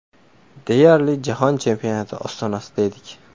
Deyarli jahon chempionati ostonasida edik.